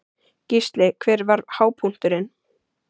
Gísli: Hver var hápunkturinn?